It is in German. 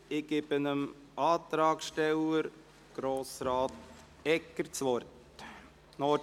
ich gebe dem Antragsteller, Grossrat Egger, das Wort.